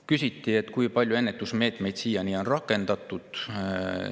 Küsiti, kui palju ennetusmeetmeid on siiani rakendatud.